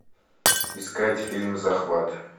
искать фильм захват